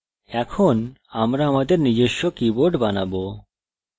এখন আমরা আমাদের নিজস্ব keyboard বানাবো